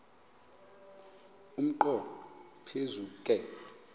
umnqo phiso ke